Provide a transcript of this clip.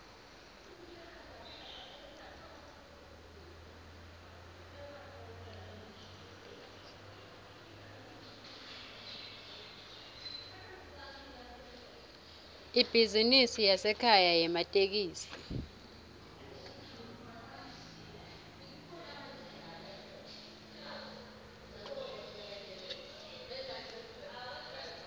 ibhizinisi yasekhaya yematekisi